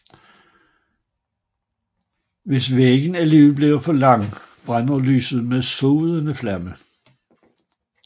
Hvis vægen alligevel bliver for lang brænder lyset med sodende flamme